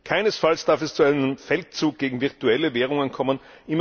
Keinesfalls darf es zu einem Feldzug gegen virtuelle Währungen kommen.